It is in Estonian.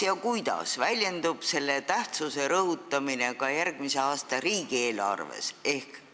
Kuidas väljendub selle tähtsuse rõhutamine järgmise aasta riigieelarves?